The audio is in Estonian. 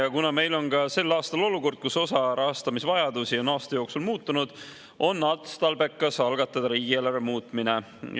Ja kuna meil on ka sel aastal olukord, kus osa rahastamisvajadusi on aasta jooksul muutunud, on otstarbekas algatada riigieelarve muutmine.